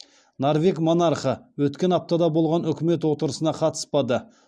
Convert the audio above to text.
норвег монархы өткен аптада болған үкімет отырысына қатыспады